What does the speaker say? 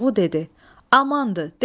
Koroğlu dedi: Amandır, de.